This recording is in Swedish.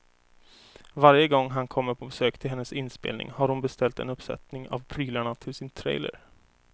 Varje gång han kommer på besök till hennes inspelning har hon beställt en uppsättning av prylarna till sin trailer.